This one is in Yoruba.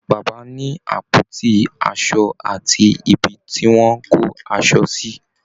Bàbá ni àpótí aṣo àti ibi tí wọ́n kó aṣọ sí.